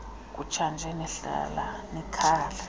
kutshanje nihlala kwikhaya